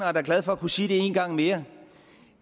er da glad for at kunne sige det en gang mere